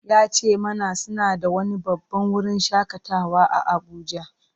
Ya ce mana suna da wani babban wurin shakatawa a Abuja.